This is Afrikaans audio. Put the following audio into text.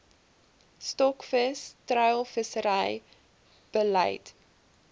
stokvis treilvissery beleid